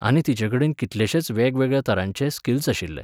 आनी तिचेकडेन कितलेशेच वेगळ्यावेगळ्या तरांचे स्किल्स आशिल्ले.